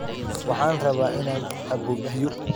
Waxaan rabaa inaan cabbo biyo